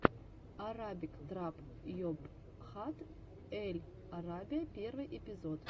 арабик трап йобхат эль арабия первый эпизод